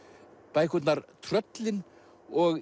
bækurnar tröllin og